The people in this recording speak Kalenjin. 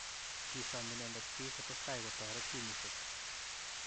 Kisom inendet piik kotestai kotoret timishek